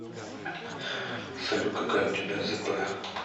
салют какая у тебя зп